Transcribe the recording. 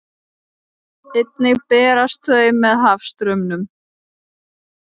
Einnig berast þau með hafstraumum.